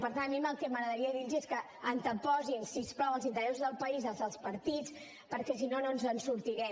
per tant a mi el que m’agradaria dir los és que anteposin si us plau els interessos del país als dels partits perquè si no no ens en sortirem